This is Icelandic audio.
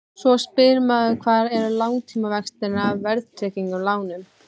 Svo spyr maður hvar eru langtímavextirnir af verðtryggðum lánum?